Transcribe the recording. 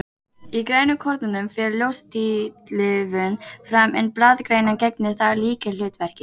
Í grænukornunum fer ljóstillífun fram, en blaðgrænan gegnir þar lykilhlutverki.